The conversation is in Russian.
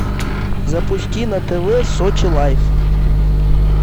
запусти на тв сочи лайф